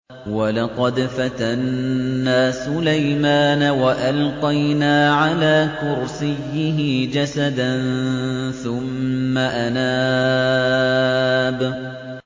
وَلَقَدْ فَتَنَّا سُلَيْمَانَ وَأَلْقَيْنَا عَلَىٰ كُرْسِيِّهِ جَسَدًا ثُمَّ أَنَابَ